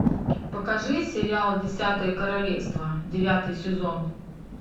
покажи сериал десятое королевство девятый сезон